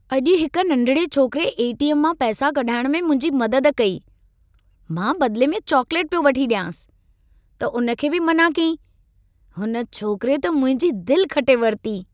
अॼु हिक नंढिड़े छोकरे ए.टी.एम. मां पैसां कढाइण में मुंहिंजी मदद कई। मां बदिले में चॉकलेटु पियो वठी ॾियांसि, त उन खे बि मनाअ कयाईं। हुन छोकरे त मुंहिंजी दिलि खटे वरिती।